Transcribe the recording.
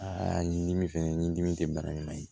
Aa nin dimi fɛnɛ ni dimi te bara ɲuman ye